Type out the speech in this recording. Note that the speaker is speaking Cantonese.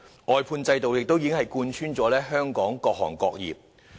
外判制度已貫穿了香港各行各業。